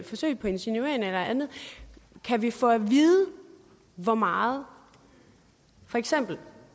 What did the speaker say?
forsøg på insinueren eller andet kan vi få at vide hvor meget for eksempel